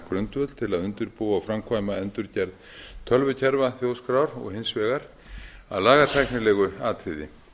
grundvöll til að undirbúa og framkvæma endurgerð tölvukerfa þjóðskrár og hins vegar að lagatæknilegu atriði